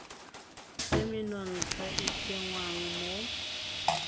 tse menontsha e tsengwang mo